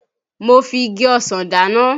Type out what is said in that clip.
Mo fi igi ọsàn dáná